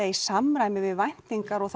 í samræmi við væntingar og